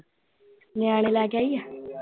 ਨਿਆਣੇ ਲੈ ਕੇ ਆਈ ਆ।